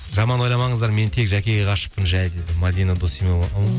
жаман ойламаңыздар мен тек жәкеге ғашықпын жай дейді мәдина досимова